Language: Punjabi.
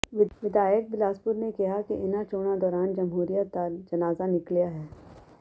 ਵਿਧਾਇਕ ਬਿਲਾਸਪੁਰ ਨੇ ਕਿਹਾ ਕਿ ਇਨ੍ਹਾਂ ਚੋਣਾਂ ਦੌਰਾਨ ਜ਼ਮਹੂਰੀਅਤ ਦਾ ਜਨਾਜ਼ਾ ਨਿਕਲਿਆ ਹੈ